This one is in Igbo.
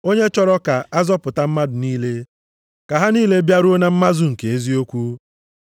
Onye chọrọ ka a zọpụta mmadụ niile, ka ha niile bịaruo na mmazu nke eziokwu.